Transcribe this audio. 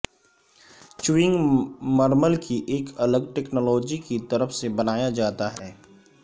chewing مرمل کی ایک الگ ٹیکنالوجی کی طرف سے بنایا جاتا ہے